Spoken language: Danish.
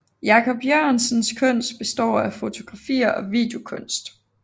Jacob Jørgensens kunst består af fotografier og videokunst